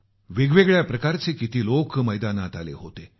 वेगवेगळ्या प्रकारचे किती लोक मैदानात आले होते